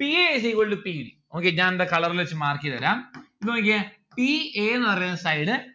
p a is equal to p d ഞാൻ ദാ colour ല് വച്ച് mark എയ്‌തരാം ഇപ്പോ നോക്കിയേ p a ന്ന്‌ പറയുന്ന side